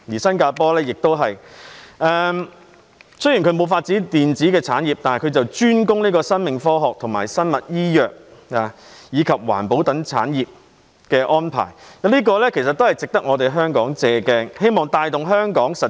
雖然當地沒有發展電子產業，卻專攻生命科學、生物醫藥及環保等產業，這一點值得香港借鏡。